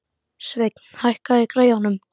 Sveinn, hækkaðu í græjunum.